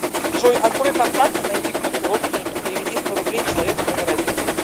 джой открой контакты найди группу родственники переведи сто рублей человеку номер один